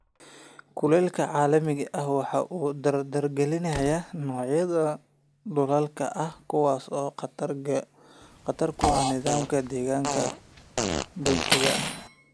Kulaylka caalamiga ahi waxa uu dardargeliyaa noocyada duullaanka ah, kuwaas oo khatar ku ah nidaamka deegaanka dabiiciga ah.